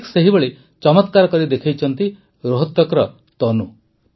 ଠିକ୍ ସେହିଭଳି ଚମତ୍କାର କରି ଦେଖାଇଛନ୍ତି ରୋହତକର ତନୁ